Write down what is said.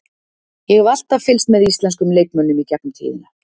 Ég hef alltaf fylgst með íslenskum leikmönnum í gegnum tíðina.